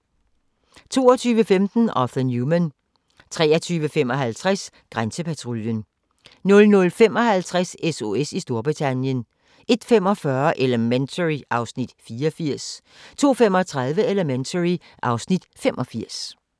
22:15: Arthur Newman 23:55: Grænsepatruljen 00:55: SOS i Storbritannien 01:45: Elementary (Afs. 84) 02:35: Elementary (Afs. 85)